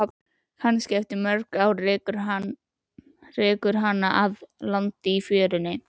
Kannski eftir mörg ár rekur hana að landi í fjörunni.